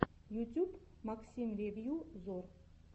ютюб максим ревью зор